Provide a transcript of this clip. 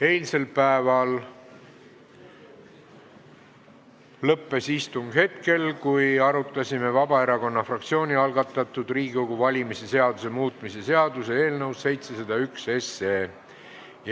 Eilsel päeval lõppes istung hetkel, kui arutasime Vabaerakonna fraktsiooni algatatud Riigikogu valimise seaduse muutmise seaduse eelnõu 701.